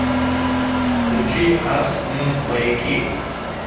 включи арс эн маяки